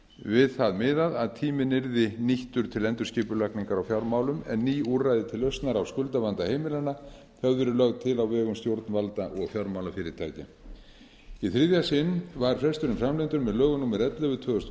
við það miðað að tíminn yrði nýttur til endurskipulagningar á fjármálum en ný úrræði til lausnar á skuldavanda heimilanna höfðu verið lögð til á vegum stjórnvalda og fjármálafyrirtækja í þriðja sinn var fresturinn framlengdur með lögum númer ellefu tvö þúsund og